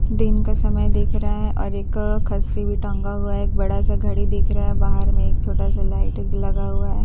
दिन का समय दिख रहा है और एक क खस्सी भी टंगा हुआ है एक बड़ा सा घड़ी भी दिख रहा है बाहर में एक छोटा सा लाइट लगा हुआ है खस्सी का--